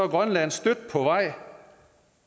grønland stødt på vej